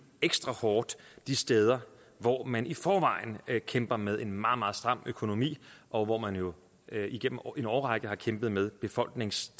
ekstra hårdt de steder hvor man i forvejen kæmper med en meget meget stram økonomi og hvor man jo igennem en årrække har kæmpet med befolknings